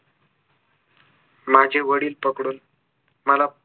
माझे वडील पकडून मला